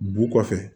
Bu kɔfɛ